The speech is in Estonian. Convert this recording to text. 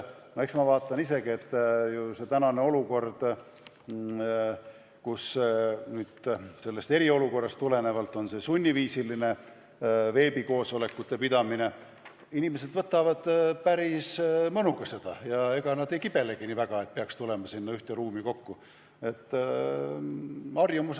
Ma vaatan isegi, et kui nüüd eriolukorrast tulenevalt on tegu sunniviisilise veebikoosolekute pidamisega, siis inimesed võtavad seda päris mõnuga ega kibelegi nii väga ühte ruumi kokku tulema.